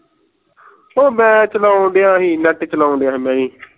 ਉਹ ਮੈਂ ਚਲੌਂਡੀਆ ਸੀ net ਚਲੌਂਡੀਆ ਸੀ